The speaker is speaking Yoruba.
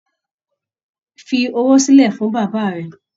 Fí owó silẹ fún bàbá rẹ̀!